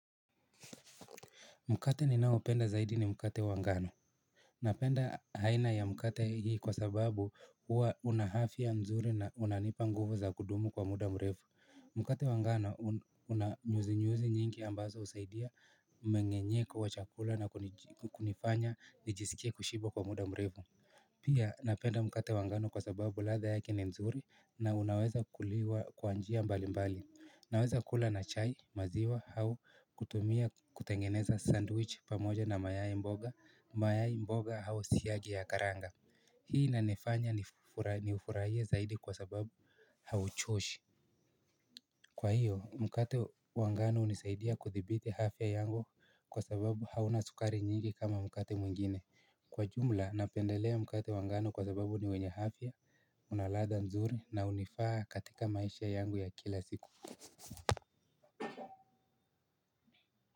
Mkate ninaopenda zaidi ni mkate wa ngano. Napenda aina ya mkate hii kwa sababu huwa una afya nzuri na unanipa nguvu za kudumu kwa muda mrefu. Mkate wa ngano una nyuzi nyuzi nyingi ambazo husaidia mmeng'enyeko wa chakula na kunifanya nijisikie kushiba kwa muda mrefu. Pia napenda mkate wa ngano kwa sababu ladha yake ni nzuri na unaweza kuliwa kwa njia mbali mbali. Naweza kula na chai maziwa au kutumia kutengeneza sandwich pamoja na mayai mboga, mayai mboga au siagi ya karanga. Hii inanifanya ni ufurahie zaidi kwa sababu hauchoshi. Kwa hiyo mkate wa ngano hunisaidia kudhibiti afya yangu kwa sababu hauna sukari nyingi kama mkate mwingine. Kwa jumla napendelea mkate wa ngano kwa sababu ni wenye afya. Una ladha nzuri na hunifaa katika maisha yangu ya kila siku.